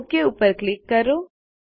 okay પર click કરો